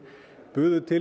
buðu til